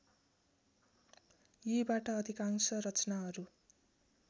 यीबाट अधिकांश रचनाहरू